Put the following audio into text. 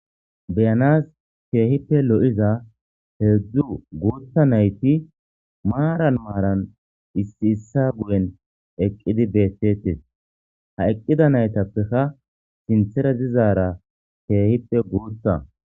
Beyanasi keehippe lo'iza hedzdzu guuththa naytti maran maran issi issa guyen eeqiddi beettetes ha eeqida nayttapekka sinththara dizara keehippe guuththa